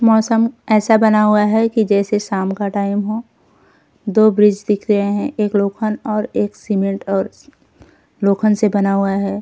मौसम ऐसे बना हुआ है कि जैसे शाम का टाइम हो। दो ब्रिज दिख रहे हैं एक लोखन और एक सिमेन्ट और श्श लोखन से बना हुआ है।